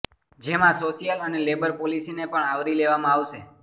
જેમાં સોશ્યલ અને લેબર પોલીસીને પણ આવરી લેવામાં આવશે